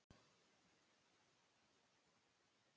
Það var ólæst eins og venjulega.